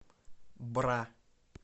бра